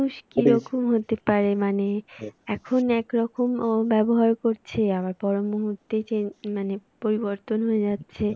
কি রকম হতে পারে মানে এখন এক রকম ব্যবহার করছে আবার পরমুহূর্তে change মানে পরিবর্তন হয়ে যাচ্ছে।